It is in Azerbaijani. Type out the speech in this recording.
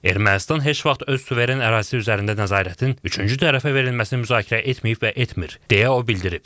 Ermənistan heç vaxt öz suveren ərazisi üzərində nəzarətin üçüncü tərəfə verilməsini müzakirə etməyib və etmir, deyə o bildirib.